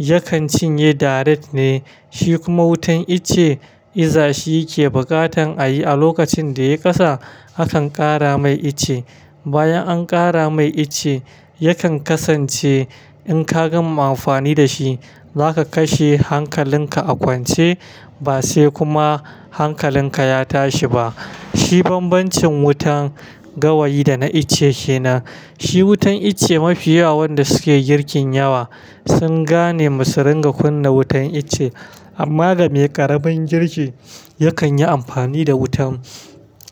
yakan cinye direct ne, shi kuma wutan icce iza shi yake buƙatan a yi a lokacin da ya ƙasa hakan ƙara mai icce. Bayan an ƙara mai icce, yakan kasance in ka gama amfani da shi za ka kashe hankalinka a kwance ba sai kuma hankalinka ya tashi ba. Shi bambancin wutan gawayi da na icce kenan. Shi wutan icce mafiyawa wanda suke girkin yawa sun gane masu ringa kunna wutan iccce. Amma game ƙaramin girki yakan yi amfani da wutan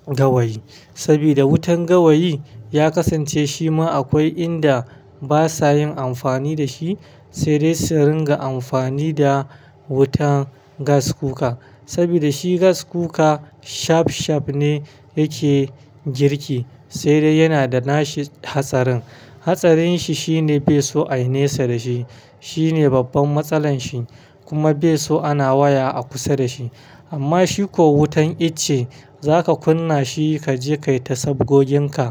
gawayi sabida wutan gawayi ya kasance shi ma akwai inda basa yin amfani da shi. Sai dai su ringa amfani da wutan gas cooka saboda shi gas cooka shaf shaf ne yake girki sai dai yana da nashi hatsarin. Hatsarin shi shine bai so ai nesa da shi. Shi ne babban matsalan shi kuma bai so ana waya a kusa da shi. Amma shi ko wutan itace za ka kunna shi ka je kayi tai sabgoginka.